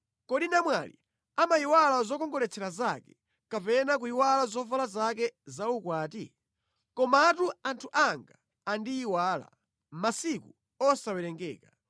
Kodi namwali amayiwala zokongoletsera zake, kapena kuyiwala zovala zake za ukwati? Komatu anthu anga andiyiwala masiku osawerengeka.